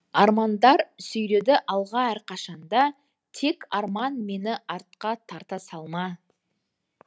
армандар сүйреді алға әрқашанда тек арман мені артқа тарта салма